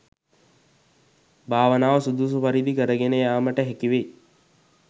භාවනාව සුදුසු පරිදි කරගෙන යෑමට හැකි වෙයි.